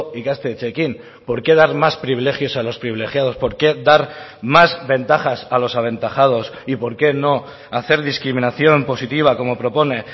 ikastetxeekin por qué dar más privilegios a los privilegiados por qué dar más ventajas a los aventajados y por qué no hacer discriminación positiva como propone